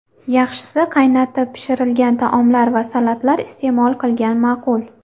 Yaxshisi, qaynatib pishirilgan taomlar va salatlar iste’mol qilgan ma’qul.